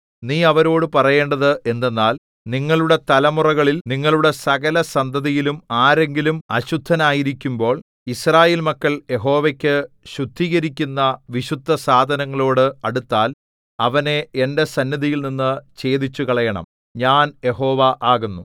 നീ അവരോടു പറയേണ്ടത് എന്തെന്നാൽ നിങ്ങളുടെ തലമുറകളിൽ നിങ്ങളുടെ സകലസന്തതിയിലും ആരെങ്കിലും അശുദ്ധനായിരിക്കുമ്പോൾ യിസ്രായേൽ മക്കൾ യഹോവയ്ക്കു ശുദ്ധീകരിക്കുന്ന വിശുദ്ധസാധനങ്ങളോട് അടുത്താൽ അവനെ എന്റെ സന്നിധിയിൽനിന്ന് ഛേദിച്ചുകളയേണം ഞാൻ യഹോവ ആകുന്നു